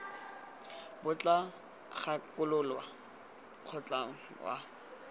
bo tla gakolola mokgatlho wa